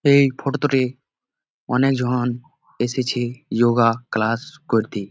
এই ফটো -টোতে অনেক জন এসেছে ইয়োগা ক্লাস করতে।